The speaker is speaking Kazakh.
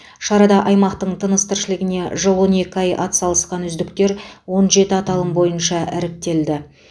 шарада аймақтың тыныс тіршілігіне жыл он екі ай атсалысқан үздіктер он жеті аталым бойынша іріктелді